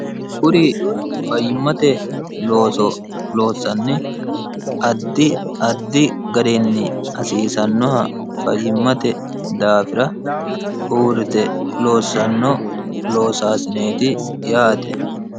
kuri fayyimmate looso loossanni addi addi garenni hasiisannoha fayyimmate daafira uurrite loossanno loosaasineeti yaate